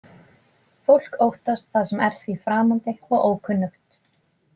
Fólk óttast það sem er því framandi og ókunnugt.